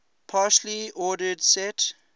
partially ordered set